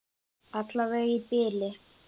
Alla vega í bili.